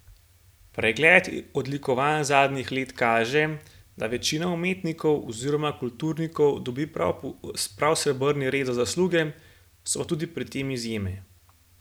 Pregled odlikovanj zadnjih let kaže, da večina umetnikov oziroma kulturnikov dobi prav srebrni red za zasluge, so pa tudi pri tem izjeme.